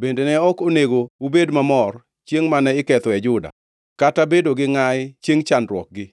bende ne ok onego ubed mamor chiengʼ mane ikethoe Juda, kata bedo gi ngʼayi chiengʼ chandruokgi.